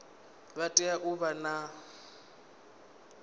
vha tea u vha na